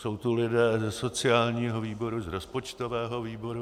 Jsou tu lidé ze sociálního výboru, z rozpočtového výboru.